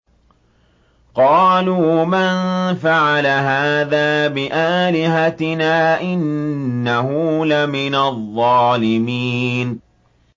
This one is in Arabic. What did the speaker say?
قَالُوا مَن فَعَلَ هَٰذَا بِآلِهَتِنَا إِنَّهُ لَمِنَ الظَّالِمِينَ